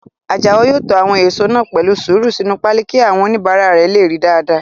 Àjàó yóò to àwọn èèso náà pẹ̀lú sùúrù sínu páálí kí àwọn oníbàárà lè ríi dáadáa